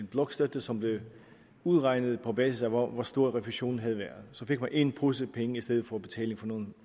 blokstøtte som blev udregnet på basis af hvor stor refusionen havde været så fik man en pose penge i stedet for betaling på nogle